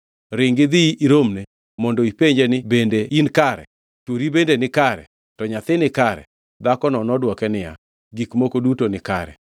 Ringi idhi iromne mondo ipenje ni, ‘Bende in kare? Chwori bende nikare? To nyathi nikare?’ ” Dhakono nodwoke niya, “Gik moko duto nikare.”